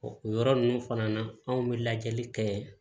O yɔrɔ ninnu fana na anw bɛ lajɛli kɛ